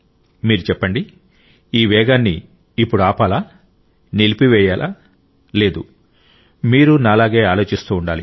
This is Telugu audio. మీరు చెప్పండి ఈ వేగాన్ని ఇప్పుడు ఆపాలా నిలిపివేయాలా లేదు మీరూ నాలాగే ఆలోచిస్తూ ఉండాలి